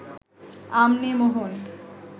আম নে, মোহন